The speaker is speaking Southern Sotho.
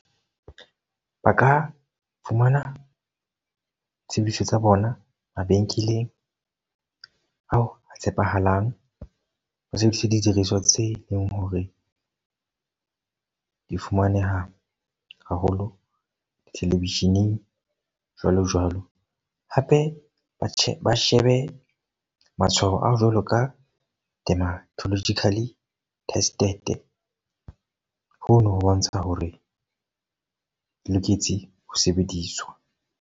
Ba ka fumana tshebediso tsa bona mabenkeleng ao a tshepahalang ho sebediswa tse leng hore di fumaneha haholo di-television-eng jwalo jwalo. Hape ba sheba shebe matshwao a jwalo ka dematologically tested. Hono ho bontsha hore ho loketse ho sebediswa.